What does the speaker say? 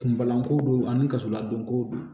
Kunbalanko don ani kasoladonko don